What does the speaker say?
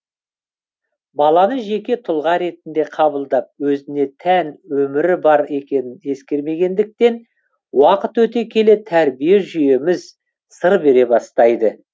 баланы жеке тұлға ретінде қабылдап өзіне тән өмірі бар екенін ескермегендіктен уақыт өте келе тәрбие жүйеміз сыр бере бастайды